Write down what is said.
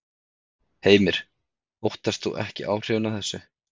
Heimir: Óttast þú ekki áhrifin af þessu?